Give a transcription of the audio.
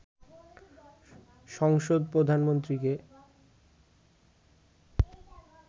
সংসদ প্রধানমন্ত্রীকে